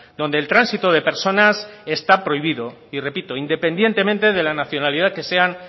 donde el tránsito de personas está prohibido y repito independientemente de la nacionalidad que sean